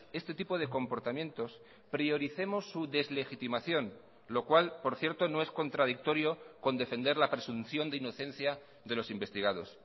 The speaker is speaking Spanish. este tipo de comportamientos prioricemos su deslegitimación lo cual por cierto no es contradictorio con defender la presunción de inocencia de los investigados